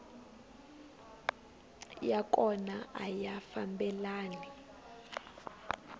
ya kona a ya fambelani